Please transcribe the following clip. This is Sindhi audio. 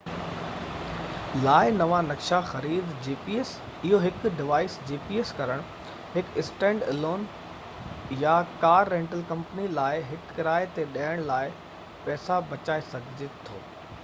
اهو هڪ gps لاءِ نوان نقشا خريد ڪرڻ هڪ اسٽينڊ الون gps ڊوائيس يا هڪ ڪار رينٽل ڪمپني لاءِ هڪ ڪرايي تي ڏيڻ لاءِ پئسا بچائي سگهي ٿو